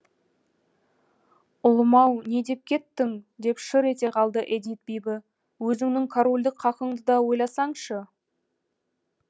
ұлым ау не деп кеттің деп шыр ете қалды эдит бибі өзіңнің корольдік хақыңды да ойласаңшы